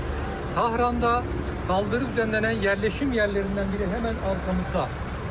Tahranda saldırı düzenlənilən yerleşim yerlerinden biri hemen arkamızda.